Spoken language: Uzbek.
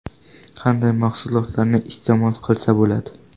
Qanday mahsulotlarni iste’mol qilsa bo‘ladi?